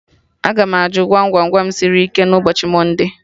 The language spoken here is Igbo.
Aga m ajụ Gwam Gwam Gwam sịrị ike na ụbọchị mọnde